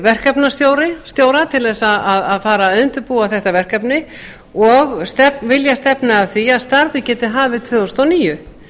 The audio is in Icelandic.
verkefnastjóra til þess að fara að undirbúa þetta verkefni og vilja stefna að því að starfið geti hafist tvö þúsund og níu